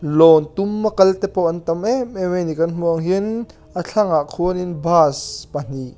lawn tuma kal te pawh an tam em em mai ni kan hmuh ang hianin a thlangah khuanin bus pahnih--